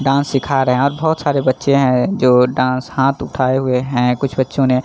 dance सिखा रहे है और बहुत सारे बच्चे है जो डांस हाथ उठाये हुए है कुछ बच्चो ने --